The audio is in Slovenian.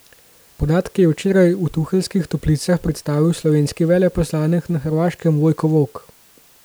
Podatke je včeraj v Tuheljskih toplicah predstavil slovenski veleposlanik na Hrvaškem Vojko Volk.